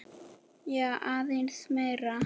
Já, aðeins meira.